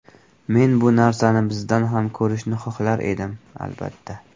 Men bu narsani bizda ham ko‘rishni xohlar edim, albatta.